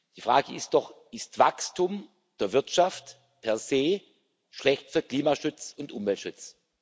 Die Frage ist doch Ist Wachstum der Wirtschaft per se schlecht für Klimaschutz und Umweltschutz?